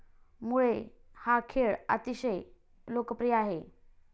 मुळे हा खेळ अतिशय लोकप्रिय आहे.